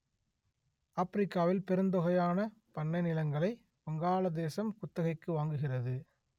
ஆப்பிரிக்காவில் பெருந்தொகையான பண்ணை நிலங்களை வங்காளதேசம் குத்தகைக்கு வாங்குகிறது